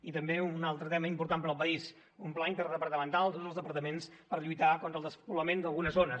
i també un altre tema important per al país un pla interdepartamental de tots dels departaments per lluitar contra el despoblament d’algunes zones